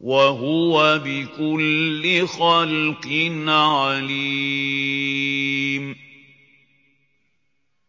وَهُوَ بِكُلِّ خَلْقٍ عَلِيمٌ